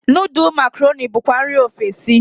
Nudul makaroni bukwa nri ofesi.